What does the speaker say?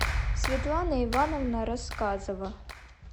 светлана ивановна рассказова